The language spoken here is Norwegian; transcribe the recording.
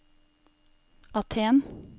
Aten